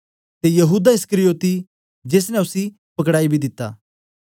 ते यहूदा इस्करियोती जेस ने उसी पकडाई बी दित्ता